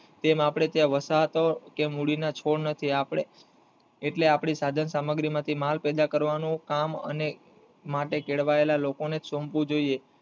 તેમ આપડે ત્યાં વરસાદ કે મૂડી ના છોડ નથી એટલે આપડી સાધન સામગ્રી માલ પેદા કરવાનું કામ અને માટે કેળવાયેલા લોકો ને જ સોપવું જોઈએ.